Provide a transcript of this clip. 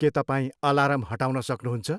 के तपाईँ अलार्म हटाउन सक्नुहुन्छ?